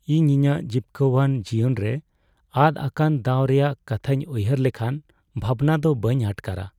ᱤᱧ ᱤᱧᱟᱹᱜ ᱡᱤᱯᱠᱟᱹᱣᱟᱱ ᱡᱤᱭᱚᱱᱨᱮ ᱟᱫ ᱟᱠᱟᱱ ᱫᱟᱣ ᱨᱮᱭᱟᱜ ᱠᱟᱛᱷᱟᱧ ᱩᱭᱦᱟᱹᱨ ᱞᱮᱠᱷᱟᱱ ᱵᱷᱟᱵᱽᱱᱟ ᱫᱚ ᱵᱟᱹᱧ ᱟᱴᱠᱟᱨᱟ ᱾